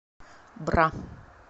бра